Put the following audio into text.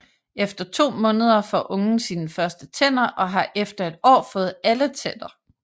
Efter 2 måneder får ungen sine første tænder og har efter et år fået alle tænder